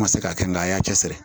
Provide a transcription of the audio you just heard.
N ma se k'a kɛ n ga a y'a cɛ siri